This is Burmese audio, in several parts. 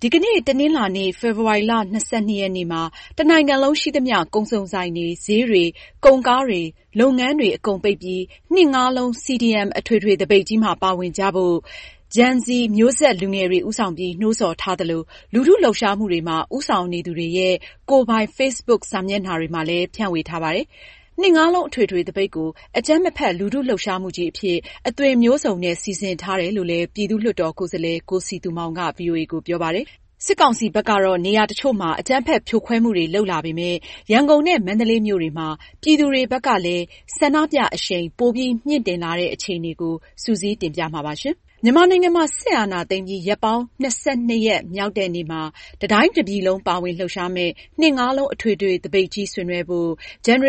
ဒီကနေ့ တနင်္လာနေ့ ဖေဖေါ်ဝါရီလ ၂၂ ရက် (၂၂.၂.၂၀၂၁) မှာ တနိုင်ငံလုံး ရှိသမျှ ကုန်စုံဆိုင်တွေ၊ ဈေးတွေ၊ ကုန်ကားဂိတ်တွေ၊ လုပ်ငန်းတွေ အကုန်ပိတ်ပြီး ၂၂၂၂၂ ( နှစ်ငါးလုံး) CDM အထွေထွေသပိတ်ကြီးမှာ ပါဝင်ကြဖို့ Gen Z မျိုးဆက် လူငယ်တွေဦးဆောင်ပြီး နှိုးဆော်ထားသလို၊ လူထုလှုပ်ရှားမှုတွေမှာ ဦးဆောင်နေသူတွေရဲ့ ကိုယ်ပိုင် Facebook စာမျက်နှာတွေမှာလည်း ဖြန့်ဝေထားပါတယ်။၂၂၂၂၂ အထွေထွေသပိတ်ကို အကြမ်းမဖက် လူထုလှုပ်ရှားမှုကြီးအဖြစ် အသွင်မျိုးစုံနဲ့ စီစဉ်ထားတယ်လို့လည်း ပြည်သူ့လွှတ်တော်ကိုယ်စားလှယ် ကိုစည်သူမောင်က ဗွီအိုအေကို ပြောပါတယ်။ စစ်ကောင်စီက နေရာတချို့မှာ အကြမ်းဖက်ဖြိုခွဲမှုတွေလုပ်လာပေမယ့် ရန်ကုန်နဲ့ မန္တလေးမြို့တွေမှာ ပြည်သူတွေဘက်ကလည်း ဆန္ဒပြအရှိန်ပိုပြီးမြှင့်တင်လာတဲ့ အခြေအနေကို မအင်ကြင်းနိုင်က စုစည်းတင်ပြမှာပါ။ မြန်မာနိုင်ငံမှာ စစ်အာဏာသိမ်းပြီး ရက်ပေါင်း ၂၂ ရက်မြောက်တဲ့နေ့မှာ တတိုင်းတပြည်လုံး ပါဝင်လှုပ်ရှားမယ့် ၂၂၂၂၂ (နှစ်ငါးလုံး) အထွေထွေသပိတ်ကြီးဆင်နွဲှဖို့ Gen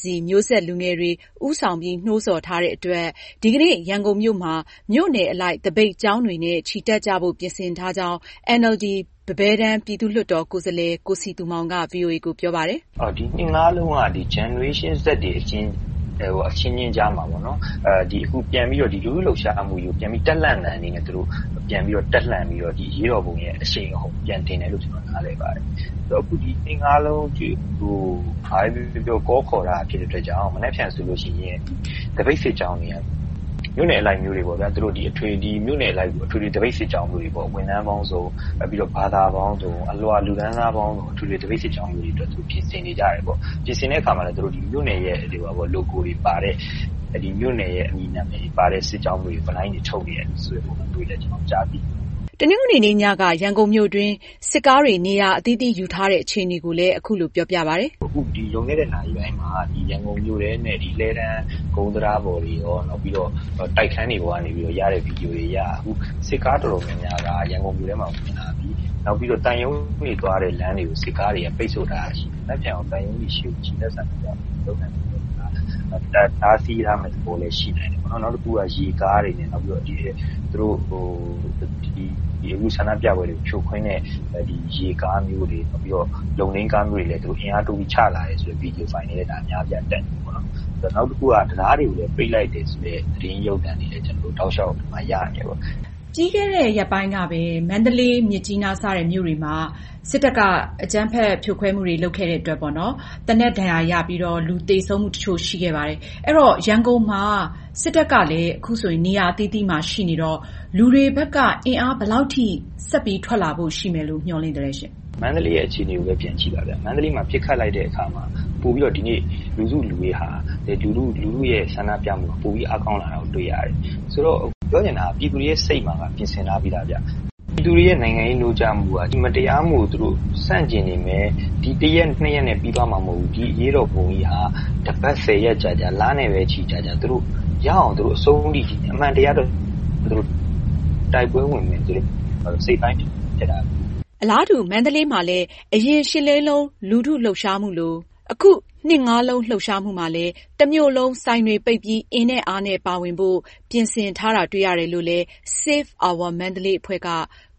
Z မျိုးဆက် လူငယ်တွေ ဦးဆောင် နှိုးဆော်ထားတဲ့အတွက် ဒီကနေ့ ရန်ကုန်မြို့မှာ မြို့နယ်အလိုက် သပိတ်ကြောင်းတွေနဲ့ချီတက်ကြဖို့ ပြင်ဆင်ထားကြောင်း NLD ပန်းဘဲတန်း ပြည်သူ့လွှတ်တော် ကိုယ်စားလှယ် ကိုစည်သူမောင်က ဗွီအိုအေကို ပြောပါတယ်။ " ဒီ ၂၂၂၂၂ (နှစ်ငါးလုံး) က Gen Z မျိုးဆက် အချင်းချင်းကြား လူထုလှုပ်ရှားမှုကြီးကို ပြန်ပြီး တပ်လှန့်သံအနေနဲ့ သူတို့ အရေးတော်ပုံရဲ့ အရှိန်အဟုန် ပြန်တင်တယ်လို့ ကျနော် နားလည်ပါတယ်။ ဘာပဲပြောပြော အခု ၂၂၂၂၂ (နှစ်ငါးလုံး) နေ့ဆိုပြီး နှိုးဆော်ထားတဲ့ ဖြစ်တဲ့အတွက် တနင်္လာမှာနေ့မှာဆိုရင် သပိတ်စစ်ကြောင်းတွေဟာ မြို့နယ်အလိုက် ဝန်ထမ်းပေါင်းစုံ၊ ဘာသာပေါင်းစုံ၊ အလွှာ လူတန်းစားပေါင်းစုံ ပါဝင်တဲ့ အထွေထွေ သပိတ်စစ်ကြောင်းမျိုးတွေ ပြင်ဆင်နေကြပါတယ်။ ပြင်ဆင်တဲ့အခါမှာ မြို့နယ်အသီးသီးရဲ့ logo တွေပါတဲ့ ဗွီနိုင်းပိုစတာတွေ ထုတ်နေတာ ကျနော်တို့ တွေ့ရပါတယ်။” တနင်္ဂနွေနေ့ညက ရန်ကုန်မြို့တွင်း စစ်ကားတွေ နေရာအသီးသီးယူထားတဲ့ အခြေအနေကိုလည်း သူက အခုလိုပြောပြပါတယ်။ ”အခု လွန်ခဲ့တဲ နာရီပိုင်းမှာ ရန်ကုန်မြို့ထဲနဲ့ လှည်းတန်းကုန်းတံတားပေါ်တွေ၊ တိုက်ခန်းတွေပေါ်ကနေ ရိုက်ယူထားတဲ့ ဗွီဒီယို မှတ်တမ်းတွေအရ အခု စစ်ကားတော်တော်များများက ရန်ကုန်မြို့တွင်းကို ဝင်လာပြီ။ နောက် သံရုံးတွေဘက်သွားတဲ့ လမ်းတွေကို စစ်ကားတွေ ပိတ်ဆို့ထားတာရှိတယ်။ တနင်္လာနေ့ကို သံရုံးတွေဘက် ချီတက်ဆန္ဒပြတာတွေမလုပ်နိုင်အောင် တားဆီးထားမယ့် သဘောလည်း ရှိနိုင်တယ်။ နောက်တခုက အခု ဆန္ဒပြပွဲတွေကို ဖြိုခွင်းတဲ့ ရေကားမျိုးတွေ၊ လုံထိန်းတွေကို အင်အားတိုးပြီး ချလာတဲ့ ဗွီဒီယိုဖိုင်တွေလည်း အများအပြားတက်နေပါတယ်။ နောက်တခုက တံတားတွေကိုလည်း ပိတ်လိုက်တယ်ဆိုတဲ့ သတင်းရုပ်သံတွေလည်း ကျနော်တို့ တောက်လျောက်ရနေတယ်။” မေး။ ။ ပြီးခဲ့တဲ့ ရက်ပိုင်းကပဲ မန္တလေး၊ မြစ်ကြီးနား စတဲ့ မြို့တွေမှာ စစ်တပ်က အကြမ်းဖက်ဖြိုခွဲမှုတွေလုပ်ခဲ့တဲ့အတွက် သေနတ်ဒဏ်ရာရပြီး လူသေဆုံးမှုတချို့ ရှိခဲ့ပါတယ်။ အဲတော့ ရန်ကုန်မှာ စစ်တပ်က နေရာအသီးသီးမှာ ရှိနေတော့ လူတွေဘက်က အင်အားဘယ်လောက်ထိ ဆက်ပြီး ထွက်လာဖို့ရှိမယ်လို့ မျှော်လင့်ထားသလဲ။ ဖြေ။ ။ မန္တလေးရဲ့ အခြေအနေကိုပဲ ပြန်ကြည့်ပါဗျ။ မန္တလေးမှာ ပစ်ခတ်လိုက်တဲ့အခါမှာ ပိုပြီးတော့ လူစုလူဝေးနဲ့ လူထုရဲ့ ဆန္ဒပြမှု ပိုပြီး အားကောင်းလာတာတွေ့ရတယ်။ ပြောချင်တာက ပြည်သူတွေရဲ့ စိတ်မှာ ပြင်ဆင်ထားပြီးသာခင်ဗျ။ ပြည်သူတွေရဲ့ နိုင်ငံရေးနိုးကြားမှုက ဒီမတရားမှုကို ဆန့်ကျင်နေမယ်။ တရက်၊ နှစ်ရက်နဲ့ ပြီးသွားမှာ မဟုတ်ဘူး။ ဒီအရေးတော်ပုံကြီးဟာ တပတ်၊ ဆယ်ရက် ကြာကြာ၊ လနဲ့ ပဲ ချီကြာကြာ အမှန်တရားအတွက် သူတို့ရအောင် တိုက်ပွဲဝင်မယ်လို့ စိတ်ပိုင်းဖြတ်ထားတယ်။” အလားတူ မန္တလေးမှာလည်း အရင် ၈၈၈၈ ရှစ်လေးလုံး လူထုလှုပ်ရှားမှုလို အခု ၂၂၂၂၂ (နှစ်ငါးလုံး) လှုပ်ရှားမှုမှာ တမြို့လည်း ဆိုင်တွေပိတ် အင်နဲ့ အားနဲ့ ပါဝင်ဖို့ ပြင်ဆင်ထားတာတွေ့ရတယ်လို့ Save Our Mandalay အဖွဲ့က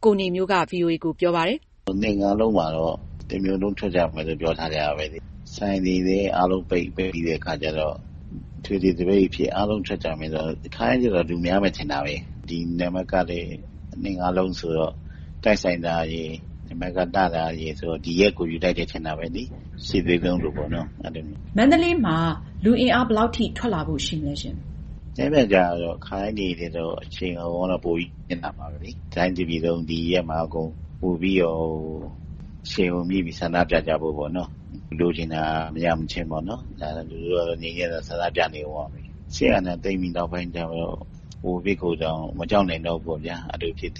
ကိုနေမျိုးက ဗွီအိုအေကို ပြောပါတယ်။ ”၂၂၂၂၂ (နှစ်ငါးလုံး) နေ့မှာ တမြို့လုံးထွက်ကြမယ်လို့ ပြောထားတယ်။ ဆိုင်တွေ အားလုံးပိတ်ပြီးတဲ့ အခါကျတော့ အထွေထွေသပိတ်ကြီးအဖြစ် အားလုံးထွက်ကြမယ်ဆိုတော့ ခါတိုင်းထက်တော့ လူပိုများမယ်ထင်တယ်။ ဒီနံပါတ်ကလည်း ၂၂၂၂၂ (နှစ်ငါးလုံး) ဆိုတော့ တိုက်ဆိုင်တာရယ်၊ နံပါတ်က လှတယ်ရယ်ဆိုတော့ ဒီရက်ကို ယူလိုက်တယ် ထင်တာပဲ။ ၈၈၈၈ ရှစ်လေးလုံး လိုပေါ့။” မေး။ ။ မန္တလေးမှာ လူအင်အား ဘယ်လောက်ထိ ထွက်လာဖို့ရှိမလဲ။ ဖြေ။ ။ ခါတိုင်းတွေထက်တော့ အရှိန်အဟုန်က ပိုပြီး မြင့်လာမှာပဲ။ တတိုင်းတပြည်လုံး ဒီရက်မှာ ပိုပြီးတော့ အကုန် အရှိန်အဟုန်မြှင့်ပြီး ဆန္ဒပြကြဖို့၊ လိုချင်တာ မရမချင်း လူထုက ငြိမ်းချမ်းစွာ ဆန္ဒပြနေကြအုံးမှာပဲ။ စစ်အာဏာသိမ်းပြီး ကိုဗစ်ကိုတောင် မကြောက်နိုင်တော့ဘူးပေါ့ဗျာ။” ကိုဗစ်-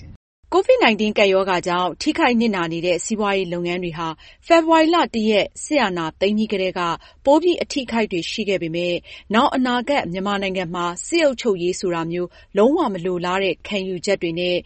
၁၉ ကပ်ရောဂါကြောင့် ထိခိုက်နစ်နာနေတဲ့ စီးပွားရေးလုပ်ငန်းတွေဟာ ဖေဖေါ်ဝါရီလ (၁)ရက် စစ်အာဏာသိမ်းပြီးကတည်းကပိုပြီး အထိအခိုက်တွေရှိခဲ့ပေမယ့် နောင်အနာဂတ် မြန်မာနိုင်ငံမှာ စစ်အုပ်ချုပ်ရေးဆိုတာမျိုး လုံးဝမလိုလားတဲ့ ခံယူချက်တွေနဲ့